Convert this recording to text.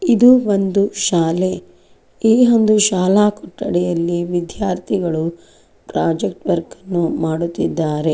ಇದು ಒಂದು ಶಾಲೆ ಈ ಒಂದು ಶಾಲಾ ಕೊಠಡಿಯಲ್ಲಿ ವಿದ್ಯಾರ್ಥಿಗಳು ಪ್ರಾಜೆಕ್ಟ್ ವರ್ಕ್ ಅನ್ನು ಮಾಡುತಿದ್ದಾರೆ.